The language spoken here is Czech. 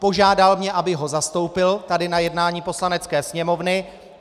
Požádal mě, abych ho zastoupil tady na jednání Poslanecké sněmovny.